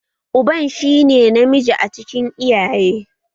Uban shi ne namiji a cikin iyaye